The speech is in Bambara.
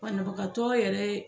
Banabagatɔ yɛrɛ